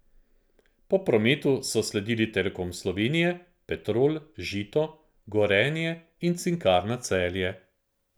Po prometu so sledili Telekom Slovenije, Petrol, Žito, Gorenje in Cinkarna Celje.